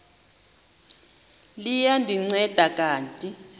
liya ndinceda kanti